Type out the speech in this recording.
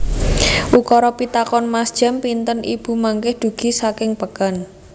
Ukara pitakonan Mas jam pinten ibu mangkih dugi saking peken